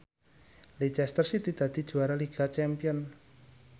Leicester City dadi juara liga champion